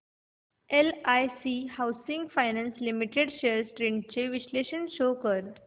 LIC housing finance limited shares trends चे विश्लेषण show कर